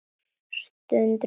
Strunsa burtu.